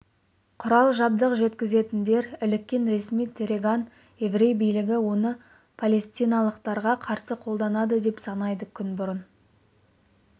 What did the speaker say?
құрал-жабдық жеткізетіндер іліккен ресми тегеран еврей билігі оны палестиналықтарға қарсы қолданады деп санайды күн бұрын